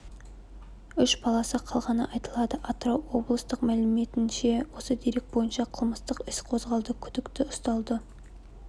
үш баласы қалғаны айтылады атырау облыстық мәліметінше осы дерек бойынша қылмыстық іс қозғалды күдіктьі ұсталды